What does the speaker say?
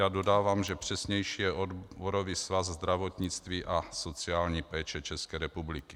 Já dodávám, že přesnější je Odborový svaz zdravotnictví a sociální péče České republiky.